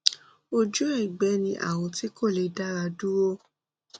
ojú ẹgbẹ ni àrùn tí kò lè dá ara dúró